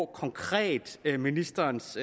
konkret er ministerens